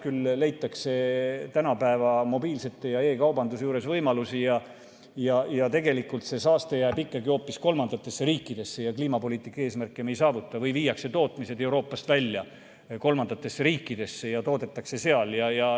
Küll leitakse tänapäeva mobiilseid ja e‑kaubandust arvestades võimalusi, see saaste jääb ikkagi hoopis kolmandatesse riikidesse ja kliimapoliitika eesmärke me ei saavuta või viiakse tootmine Euroopast välja kolmandatesse riikidesse ja toodetakse seal.